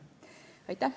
Aitäh!